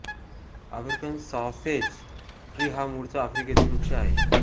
African sausage tree हा मुळचा आफ्रिकेतील वृक्ष आहे